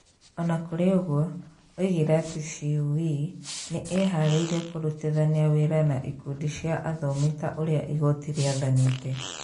O na kũrĩ ũguo, oigire atĩ CũE nĩ ĩĩharĩirie kũrutithania wĩra na ikundi cia athomi ta ũrĩa igooti rĩathanĩte.